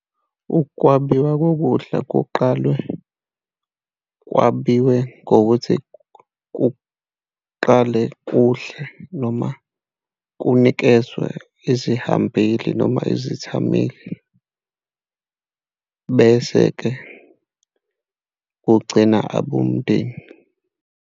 Ukwabiwa kokudla kuqalwe kwabiwe ngokuthi kuqale udle noma kunikezwe izihambeli noma izithameli. bese-ke kugcina abomndeni.